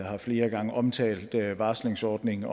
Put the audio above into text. har flere gange omtalt en varslingsordning